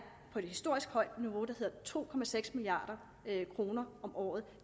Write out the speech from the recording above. på et historisk højt niveau der hedder to milliard kroner om året